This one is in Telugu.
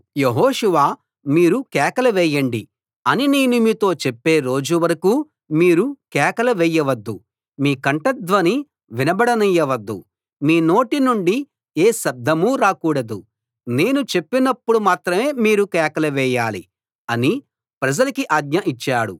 యెహోషువ మీరు కేకలు వేయండి అని నేను మీతో చెప్పే రోజు వరకూ మీరు కేకలు వేయవద్దు మీ కంఠధ్వని వినబడనీయవద్దు మీ నోటి నుండి ఏ శబ్దమూ రాకూడదు నేను చెప్పినప్పుడు మాత్రమే మీరు కేకలు వేయాలి అని ప్రజలకి ఆజ్ఞ ఇచ్చాడు